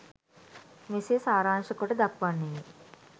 මෙසේ සාරාංශකොට දක්වන්නෙමි.